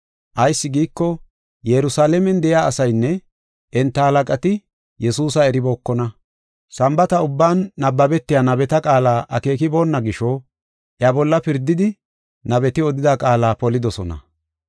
Ayis giiko, Yerusalaamen de7iya asaynne enta halaqati Yesuusa eribookona. Sambaata ubban nabbabetiya nabeta qaala akeekibona gisho iya bolla pirdidi nabeti odida qaala polidosona.